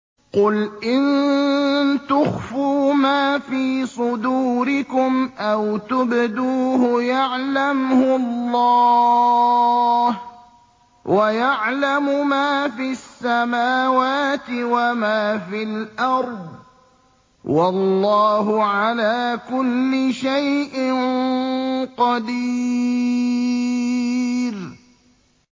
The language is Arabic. قُلْ إِن تُخْفُوا مَا فِي صُدُورِكُمْ أَوْ تُبْدُوهُ يَعْلَمْهُ اللَّهُ ۗ وَيَعْلَمُ مَا فِي السَّمَاوَاتِ وَمَا فِي الْأَرْضِ ۗ وَاللَّهُ عَلَىٰ كُلِّ شَيْءٍ قَدِيرٌ